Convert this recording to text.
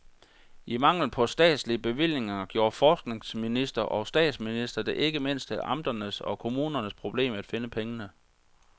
I mangel på statslige bevillinger gjorde forskningsminister og statsminister det ikke mindst til amternes og kommunernes problem at finde pengene.